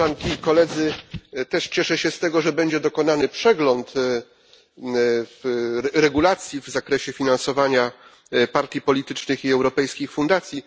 Też cieszę się z tego, że będzie dokonany przegląd regulacji w zakresie finansowania partii politycznych i europejskich fundacji.